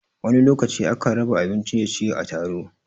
Wani lokaci a kan raba abin ciye-ciye a taro